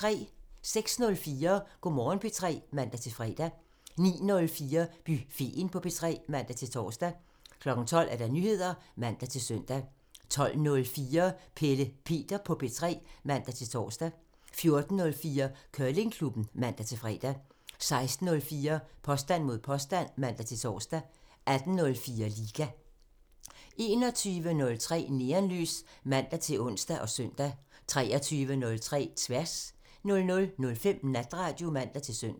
06:04: Go' Morgen P3 (man-fre) 09:04: Buffeten på P3 (man-tor) 12:00: Nyheder (man-søn) 12:04: Pelle Peter på P3 (man-tor) 14:04: Curlingklubben (man-fre) 16:04: Påstand mod påstand (man-tor) 18:04: Liga 21:03: Neonlys (man-ons og søn) 23:03: Tværs (man) 00:05: Natradio (man-søn)